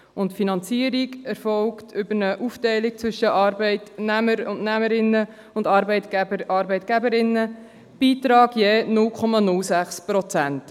Zudem erfolgt die Finanzierung über eine Aufteilung zwischen Arbeitnehmer und Arbeitnehmerinnen sowie Arbeitgeber und Arbeitgeberinnen mit einem Beitrag von je 0,06 Prozent.